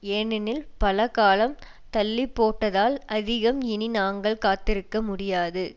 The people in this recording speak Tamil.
ஏனெனில் பல காலம் தள்ளி போட்டதால் அதிகம் இனி நாங்கள் காத்திருக்க முடியாது